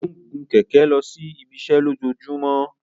O ń gun kẹkẹ losi ibiṣẹ lojoojumọ.